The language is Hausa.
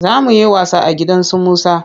Za mu yi wasa a gidan su Musa.